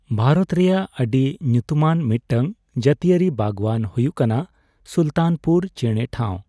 ᱵᱷᱟᱨᱚᱛ ᱨᱮᱭᱟᱜ ᱟᱹᱰᱤ ᱧᱩᱛᱩᱢᱟᱱ ᱢᱤᱫᱴᱟᱝ ᱡᱟᱹᱛᱤᱭᱟᱹᱨᱤ ᱵᱟᱜᱽᱣᱟᱱ ᱦᱳᱭᱳᱜ ᱠᱟᱱᱟ ᱥᱩᱞᱛᱟᱱᱯᱩᱨ ᱪᱮᱬᱮ ᱴᱷᱟᱣ ᱾